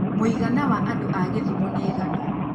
mũigana wa andũ a githumo nĩ aigana